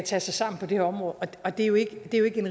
sig sammen på det her område det er jo ikke